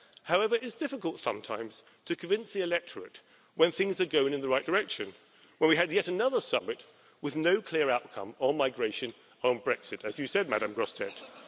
However, it is difficult sometimes to convince the electorate when things are going in the right direction, when we had yet another summit with no clear outcome on migration or on Brexit as you said, Ms Grossetête.